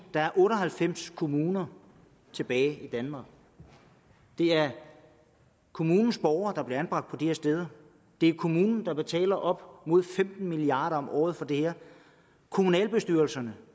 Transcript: der er otte og halvfems kommuner tilbage i danmark det er kommunens borgere der bliver anbragt på de her steder det er kommunen der betaler op mod femten milliard kroner om året for det her kommunalbestyrelserne